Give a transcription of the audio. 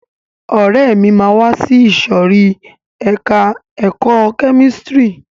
Ọ̀rẹ́ mi máa wá sí ìsòrí ẹka ẹ̀kọ́ kẹ́místrì.